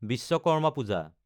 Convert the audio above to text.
Vishwakarma Puja